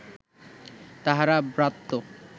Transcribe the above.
তাহারা ব্রাত্য